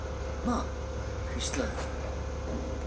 Amma, hvíslaði hún.